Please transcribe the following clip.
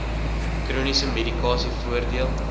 chroniese medikasie voordeel